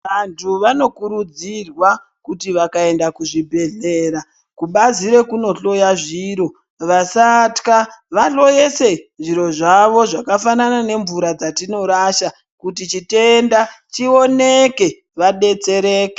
Vantu vanokurudzirwa kuti vakawanda kuzvibhedhlera kubazi rekundohloya zviro vasatka vahloyese zviro zvawo zvakafanana nemvura dzatinorasha kuti chitenda chioneke vadetsereke.